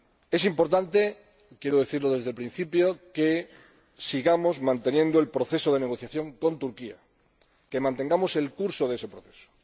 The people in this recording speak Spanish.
Es importante —quiero decirlo desde el principio— que sigamos manteniendo el proceso de negociación con Turquía, que mantengamos el curso de ese proceso.